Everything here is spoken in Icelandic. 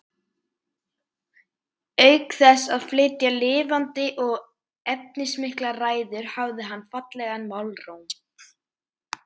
Auk þess að flytja lifandi og efnismiklar ræður hafði hann fallegan málróm.